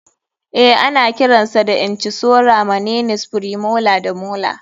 Eh ana kiran sa da incisora maninies, premolar da molar.